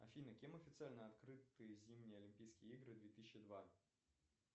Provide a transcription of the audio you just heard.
афина кем официально открыты зимние олимпийские игры две тысячи два